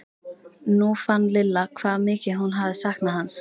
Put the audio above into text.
Nú fann Lilla hvað mikið hún hafði saknað hans.